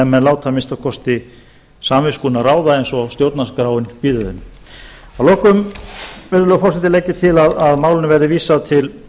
menn láta að minnsta kosti samviskuna ráða eins og stjórnarskráin býður þeim að lokum virðulegi forseti legg ég til að málinu verði vísað til